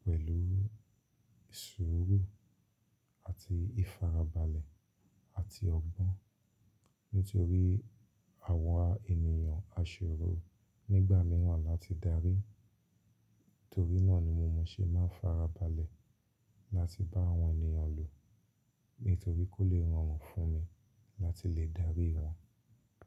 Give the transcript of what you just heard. pẹ̀lú ìṣuru àti ìfarabalẹ̀ àti ọgbọ́n. Nítorí àwa ènìyàn aṣòro nígbà mìíràn láti darí, torí náà ni mo ṣe máa ń farabalẹ̀ láti bá àwọn ènìyàn lò, nítorí kó lè rọrùn fún mi láti lè darí wọn.